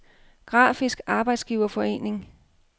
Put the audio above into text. Grafisk Arbejdsgiverforening